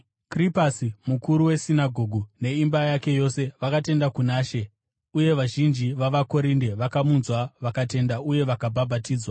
Krispasi mukuru wesinagoge, neimba yake yose vakatenda kuna She; uye vazhinji vavaKorinde vakamunzwa vakatenda uye vakabhabhatidzwa.